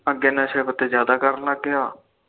ਨਸ਼ੇ ਪੱਤੇ ਜਾਦਾ ਕਰਨ ਲੱਗ ਗਿਆ